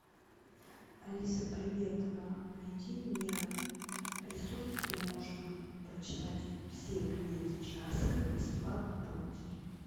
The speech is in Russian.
алиса привет найди мне ресурс где можно прочитать все книги чарской бесплатно полностью